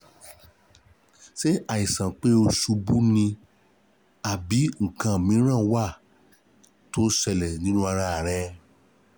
Ṣé àìsàn pé ó ṣubú ni àbí nǹkan mìíràn wà tó ń ṣẹlẹ̀ nínú ara rẹ̀?